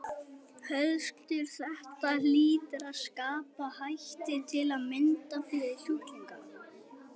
Höskuldur: Þetta hlýtur að skapa hættu til að mynda fyrir sjúklinga?